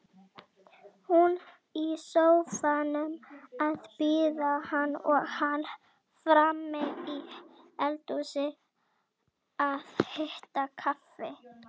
Hún í sófanum að bíða hans og hann frammi í eldhúsi að hita kaffi.